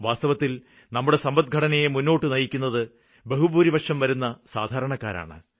വാസ്തവത്തില് നമ്മുടെ സമ്പദ്ഘടനയെ മുന്നോട്ട് നയിക്കുന്നത് ബഹുഭൂരിപക്ഷം വരുന്ന സാധാരണക്കാരാണ്